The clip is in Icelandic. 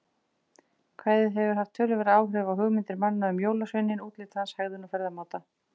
Kvæðið hefur haft töluverð áhrif á hugmyndir manna um jólasveininn, útlit hans, hegðun og ferðamáta.